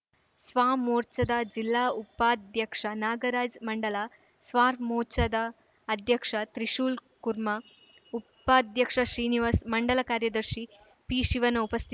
ಸ್ವಾಮೋರ್ಚಾದ ಜಿಲ್ಲಾ ಉಪಾಧ್ಯಕ್ಷ ನಾಗರಾಜ್‌ ಮಂಡಲ ಸ್ವಾಮೋರ್ಚಾದ ಅಧ್ಯಕ್ಷ ತ್ರಿಶೂಲ್‌ಕುರ್ಮಾ ಉಪಾಧ್ಯಕ್ಷ ಶ್ರೀನಿವಾಸ್‌ ಮಂಡಲ ಕಾರ್ಯದರ್ಶಿ ಪಿಶಿವಣ್ಣ ಉಪಸ್ಥಿತ